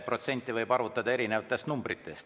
Protsenti võib arvutada erinevatest numbritest.